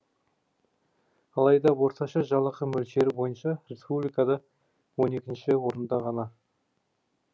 алайда орташа жалақы мөлшері бойынша республикада он екінші орында ғана